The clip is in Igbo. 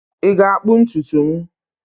Ị ga-akpụ ntutu m?